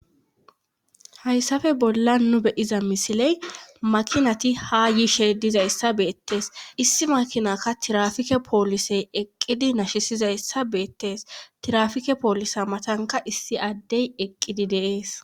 hayssappe bolla nu be'iza misiley maakinati ha yiishe dizayssi beettes issi maakinakka tirafike poolisey eqqidi nashisizayssa beettes tirafike poolisa matanka issi addey eqqidi de'ees